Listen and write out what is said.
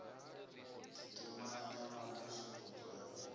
ḓi tumanya na mvusuludzo ya